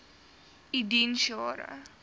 u diens jare